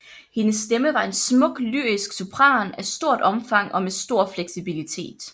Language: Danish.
Hendes stemme var en smuk lyrisk sopran af stort omfang og med stor fleksibilitet